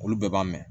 Olu bɛɛ b'a mɛn